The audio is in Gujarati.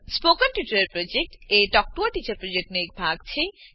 spoken tutorial project talk to a teacher પ્રોજેક્ટનો એક ભાગ છે